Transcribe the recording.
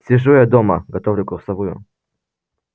сижу я дома готовлю курсовую